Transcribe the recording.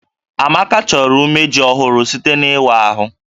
Amaka chọrọ umeji ọhụrụ site n'ịwa ahụ